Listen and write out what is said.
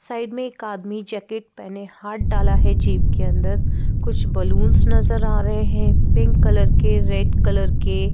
side में एक आदमी जैकेट पहने हाथ डाला है जेब के अंदर कुछ बलून्स नजर आ रहे हैं पिंक कलर के रेड कलर के --